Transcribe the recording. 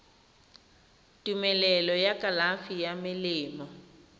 tumelelo ya kalafi ya melemo